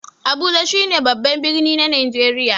Abuja shi ne babban birni na Najeriya.